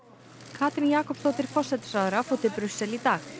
Katrín Jakobsdóttir forsætisráðherra fór til Brussel í dag